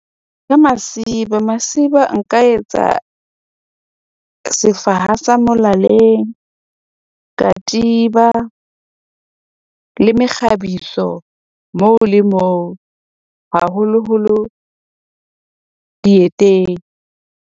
Ka masiba masiba, nka etsa sefaha sa molaleng, katiba le mekgabiso moo le moo haholoholo dieteng.